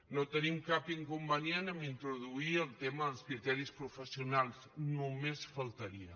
no tenim cap inconvenient a introduir el tema dels criteris professionals només faltaria